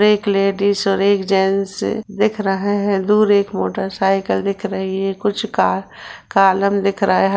एक लेडिज और एक जैंट्स दिख रहे हैंदूर एक मोटरसाइकिल दिख रही हैकुछ का कालम दिख रहा है।